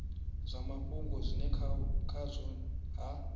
zwa mafhungo zwine khazwo ha